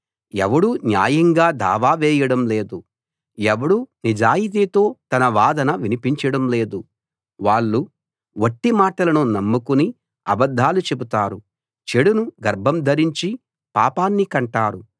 ఎవడూ న్యాయంగా దావా వేయడం లేదు ఎవడూ నిజాయితీతో తన వాదన వినిపించడం లేదు వాళ్ళు వట్టి మాటలను నమ్ముకుని అబద్ధాలు చెబుతారు చెడును గర్భం ధరించి పాపాన్ని కంటారు